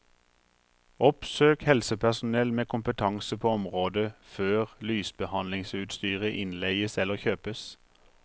Oppsøk helsepersonell med kompetanse på området før lysbehandlingsutstyret innleies eller kjøpes.